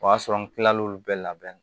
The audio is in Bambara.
O y'a sɔrɔ n kilal'olu bɛɛ labɛn